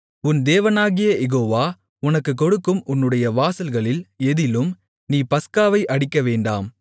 உன் தேவனாகிய யெகோவா உனக்குக்கொடுக்கும் உன்னுடைய வாசல்களில் எதிலும் நீ பஸ்காவை அடிக்கவேண்டாம்